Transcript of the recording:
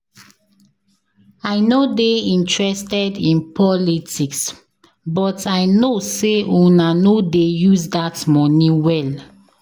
I no dey interested in politics but I no say una no dey use dat money well